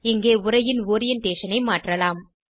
இங்கே உரையின் ஓரியன்டேஷன் ஐ மாற்றலாம்